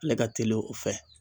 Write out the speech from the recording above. Ale ka teli o fɛ.